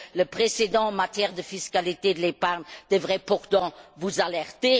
Le précédent en matière de fiscalité de l'épargne devrait pourtant vous alerter.